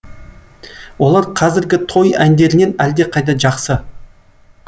олар қазіргі той әндерінен әлдеқайда жақсы